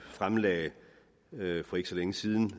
fremlagde for ikke så længe siden